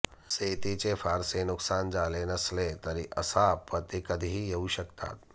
शेतीचे फारसे नुकसान झाले नसले तरी अशा आपत्ती कधीही येऊ शकतात